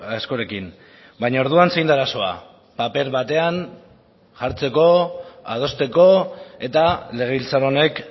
askorekin baina orduan zein da arazoa paper batean jartzeko adosteko eta legebiltzar honek